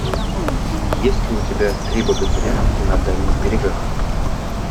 есть ли у тебя три богатыря на дальних берегах